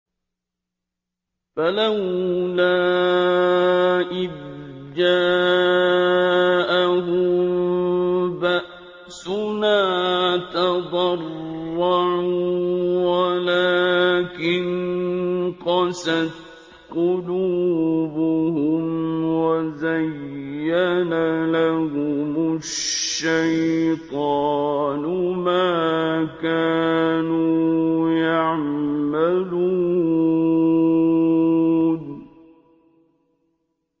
فَلَوْلَا إِذْ جَاءَهُم بَأْسُنَا تَضَرَّعُوا وَلَٰكِن قَسَتْ قُلُوبُهُمْ وَزَيَّنَ لَهُمُ الشَّيْطَانُ مَا كَانُوا يَعْمَلُونَ